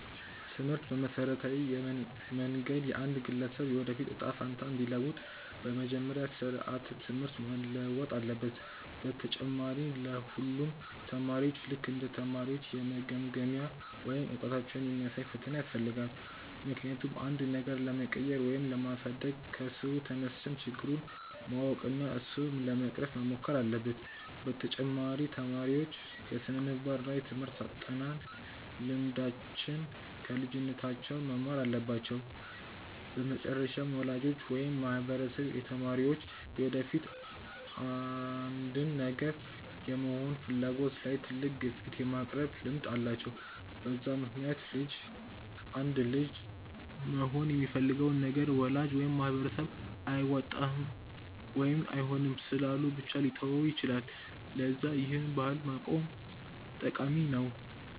ትምህርት በመሠረታዊ መንገድ የአንድን ግለሰብ የወደፊት እጣ ፈንታ እንዲለውጥ፤ በመጀመሪያ ስራዓተ ትምህርት መለወጥ አለበት፣ በተጨማሪ ለ ሁሉም አስተማሪዎች ልክ እንደ ተማሪዎች የመገምገሚያ ወይም እውቀታቸውን የሚያሳይ ፈተና ያስፈልጋል፤ ምክንያቱም አንድን ነገር ለመቀየር ወይም ለማሳደግ ከስሩ ተነስተን ችግሩን ማወቅ እና እሱን ለመቅረፍ መሞከር አለብን፤ በተጨማሪ ተማሪዎች የስነምግባር እና የትምርህት አጠናን ልምዶችን ከልጅነታቸው መማር አለባቸው፤ በመጨረሻም ወላጆች ወይም ማህበረሰብ የተማሪዎች የወደፊት አንድን ነገር የመሆን ፍላጎት ላይ ትልቅ ግፊት የማቅረብ ልምድ አላቸው፤ በዛ ምክንያትም አንድ ልጅ መሆን የሚፈልገውን ነገር ወላጅ ወይም ማህበረሰብ አያዋጣም ወይም አይሆንም ስላሉ ብቻ ሊተወው ይችላል፤ ለዛ ይህን ባህል ማቆም ጠቃሚ ነው።